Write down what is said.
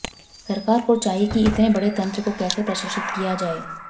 सरकार को चाहिए कि इतने बड़े तन्त्र को कैसे प्रशिक्षित किया जाए